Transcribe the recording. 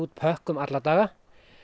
pökkum alla daga